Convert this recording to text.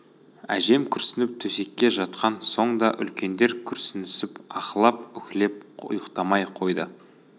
әжем күрсініп төсекке жатқан соң да үлкендер күрсінісіп аһылап-үһілеп ұйықтамай қойды